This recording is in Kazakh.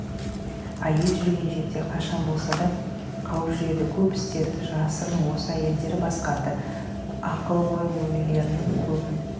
әйел жүрген жерде қашан да болса қауіп жүреді көп істерді жасырын осы әйелдері басқарды ақылгөйлерінің көбін